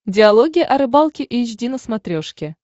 диалоги о рыбалке эйч ди на смотрешке